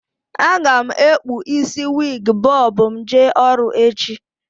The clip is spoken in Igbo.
A ga m ekpu isi wiig bọb m jee ọrụ echi